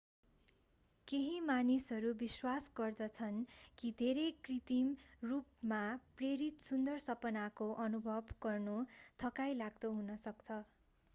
केही मानिसहरू विश्वास गर्दछन् कि धेरै कृत्रिम रूपमा प्रेरित सुन्दर सपनाको अनुभव गर्नु थकाइलाग्दो हुन सक्छ